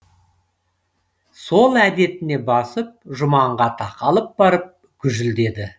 сол әдетіне басып жұманға тақалып барып гүжілдеді